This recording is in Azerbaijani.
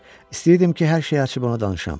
İstəyirdim ki, hər şeyi açıb ona danışam.